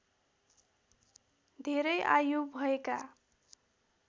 धेरै आयु भएका